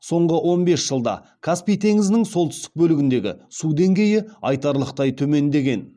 соңғы он бес жылда каспий теңізінің солтүстік бөлігіндегі су деңгейі айтарлықтай төмендеген